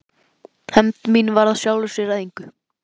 Hefnd mín varð af sjálfu sér að engu.